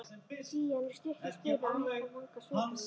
Pían er stutt í spuna og hætt að vanga sveitamanninn.